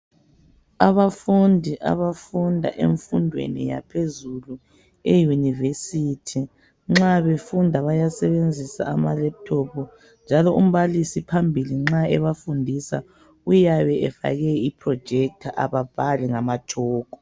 Abafundi abafunda enfundweni yaphezulu e yunivesithi nxa befunda bayasebenzisa ama lephuthophu njalo umbalisi phambili nxa ebafundisa uyabe efake i projetha ababhali ngama tshoko.